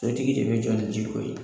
tigi de bɛ jɔ ni ji ko ye.